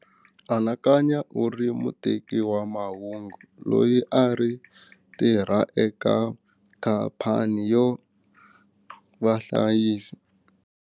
Anakanya u ri muteki wa mahungu loyi a ri tirha eka khampani yo va hlayisi.